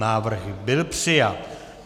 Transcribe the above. Návrh byl přijat.